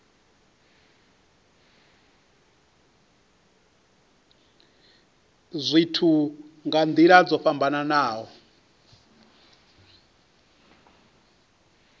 zwithu nga nila dzo fhambanaho